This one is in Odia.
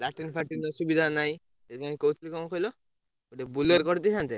Latin ଫାଟିନ୍‌ର ସୁବିଧା ନାହିଁ ସେଇଥିପାଇଂକହୁଥିଲି ଙ୍କ କହିଲ ଗୋଟେ Bolero କରିଦେଇଥାନ୍ତେ।